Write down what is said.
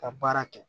Ka baara kɛ